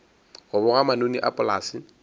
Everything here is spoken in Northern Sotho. go boga manoni a polase